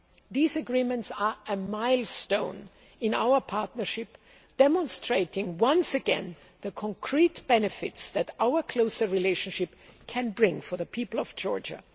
sides. These agreements are a milestone in our partnership, demonstrating once again the concrete benefits that our closer relationship can bring for the people of Georgia.